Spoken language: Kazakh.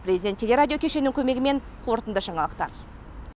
президент теле радио кешенінің көмегімен қорытынды жаңалықтар